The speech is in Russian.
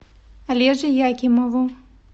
олеже якимову